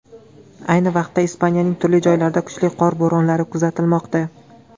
Ayni vaqtda Ispaniyaning turli joylarida kuchli qor bo‘ronlari kuzatilmoqda.